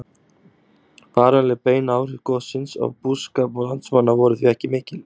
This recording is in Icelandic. Varanleg bein áhrif gossins á búskap landsmanna voru því ekki mikil.